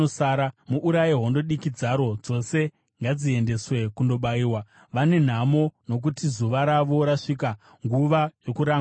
Muuraye hondo diki dzaro dzose; ngadziendeswe kundobayiwa! Vane nhamo! Nokuti zuva ravo rasvika, nguva yokurangwa kwavo.